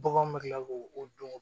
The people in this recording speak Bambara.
Baganw bɛ tila k'o dɔn